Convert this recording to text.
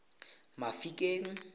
mafikeng